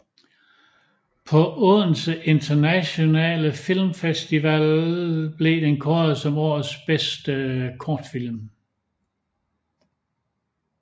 På Odense Internationale Film Festival blev den kåret som årets bedste kortfilm